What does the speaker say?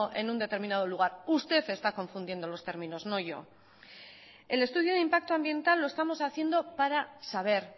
en un determinado lugar usted está confundiendo los términos no yo el estudio de impacto ambiental lo estamos haciendo para saber